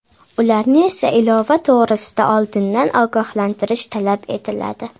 Ularni esa ilova to‘g‘risida oldindan ogohlantirish talab etiladi.